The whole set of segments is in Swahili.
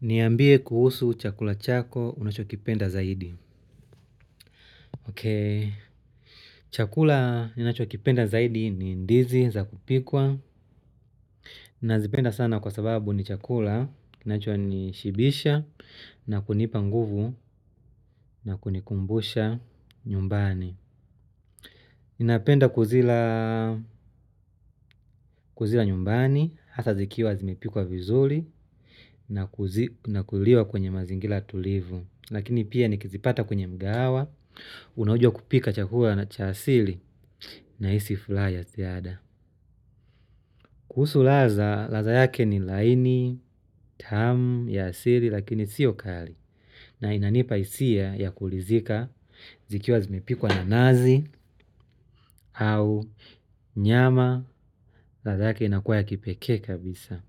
Niambie kuhusu chakula chako unachokipenda zaidi. Ok. Chakula ninacho kipenda zaidi ni ndizi za kupikwa. Nazipenda sana kwa sababu ni chakula, kinachonishibisha, na kunipa nguvu, na kunikumbusha nyumbani. Ninapenda kuzila nyumbani, hasa zikiwa zimepikwa vizuri, na kuliwa kwenye mazingira tulivu. Lakini pia nikizipata kwenye mgahawa, unaojua kupika chakula na cha asili nahisi furaya za ziada. Kuhusu ladha, ladha yake ni laini, tamu, ya sili, lakini sio kali. Na inanipa hisia ya kuridhika, zikiwa zimepikwa na nazi, au nyama. Ladha yake inakuwa ya kipekee kabisa.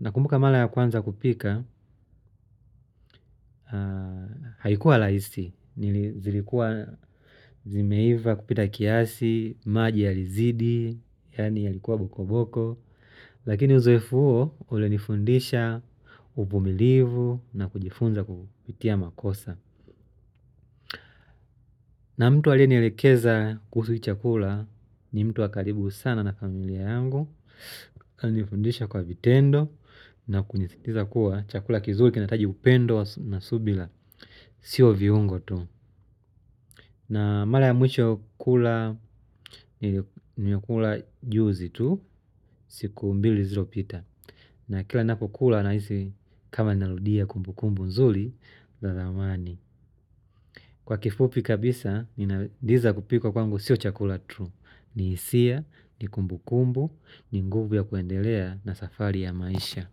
Nakumbuka mara ya kwanza kupika, haikuwa rahisi, zilikuwa zimeiva kupita kiasi, maji yalizidi, yaani yalikuwa boko boko, lakini uzoefu huo ulinifundisha uvumilivu na kujifunza kupitia makosa. Na mtu aliyenielekeza kuhusu hii chakula ni mtu wa karibu sana na familia yangu. Alinifundisha kwa vitendo na kunisikiza kuwa chakula kizuri kinahitaji kupendwa na subira, sio viungo tu. Na mara ya mwisho kula ilikuwa juzi tu, siku mbili zilizopita na kila ninapokula nahisi kama narudia kumbu kumbu nzuri za zamani. Kwa kifupi kabisa, ndizi za kupikwa kwangu sio chakula tu. Ni hisia, ni kumbu kumbu, ni nguvu ya kuendelea na safari ya maisha.